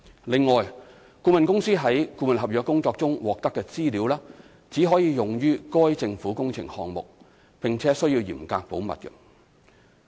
另外，顧問公司從顧問合約工作中獲得的資料，只可用於該政府工程項目，並須嚴格保密。